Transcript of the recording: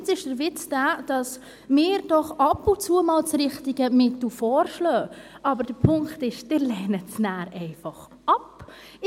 Jetzt ist der Witz, dass wir doch ab und zu mal das richtige Mittel vorschlagen, aber der Punkt ist, dass Sie es nachher einfach ablehnen.